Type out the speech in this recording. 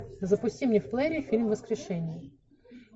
запусти мне в плеере фильм воскрешение